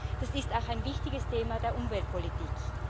Nein, das ist auch ein wichtiges Thema der Umweltpolitik.